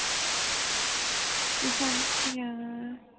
ਇਫਾਂਟਿਆ